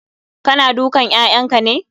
Kana dukan 'ya'yanka ne?